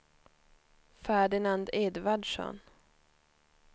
Ferdinand Edvardsson